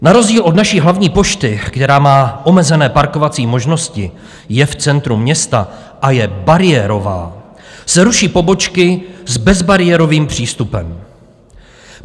Na rozdíl od naší hlavní pošty, která má omezené parkovací možnosti, je v centru města a je bariérová, se ruší pobočky s bezbariérovým přístupem.